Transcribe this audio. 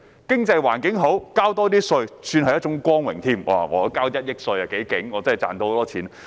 經濟環境好、多交些稅是一種光榮，我交1億元稅，代表我很厲害，賺到很多錢。